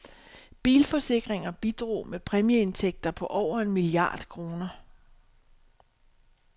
Bilforsikringer bidrog med præmieindtægter på over en milliard kroner.